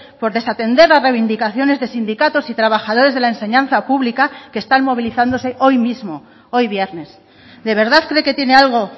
por desatender las reivindicaciones de sindicatos y trabajadores de la enseñanza pública que están movilizándose hoy mismo hoy viernes de verdad cree que tiene algo